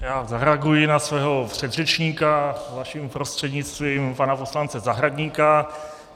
Já zareaguji na svého předřečníka, vaším prostřednictvím, pana poslance Zahradníka.